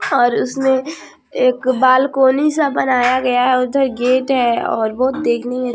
और उसने एक बालकनी सा बनाया गया है उधर गेट है और बहुत देखने में --